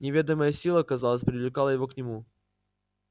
неведомая сила казалось привлекала его к нему